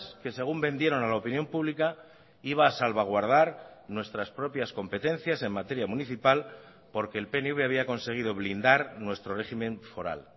que según vendieron a la opinión pública iba a salvaguardar nuestras propias competencias en materia municipal porque el pnv había conseguido blindar nuestro régimen foral